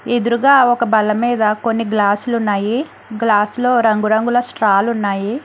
ఎదురుగా ఒక బలమీద కొన్ని గ్లాసులు ఉన్నాయి గ్లాస్ లో రంగురంగుల స్ట్రాలు ఉన్నాయి.